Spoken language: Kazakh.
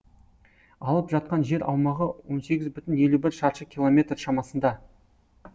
алып жатқан жер аумағы он сегіз бүтін елу бір шаршы километр шамасында